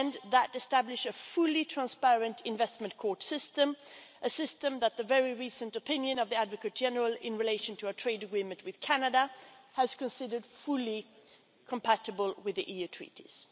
It thus establishes a fully transparent investment court system, a system which, in the very recent opinion of the Advocate General in relation to a trade agreement with Canada, has been considered fully compatible with the EU Treaties.